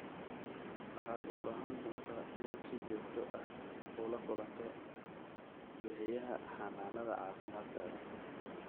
Waxaad u baahan doontaa inaad si joogto ah ula kulanto bixiyaha xanaanada caafimaadkaaga.